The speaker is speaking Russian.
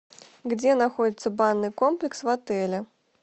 где находится банный комплекс в отеле